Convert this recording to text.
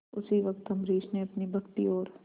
उसी वक्त अम्बरीश ने अपनी भक्ति और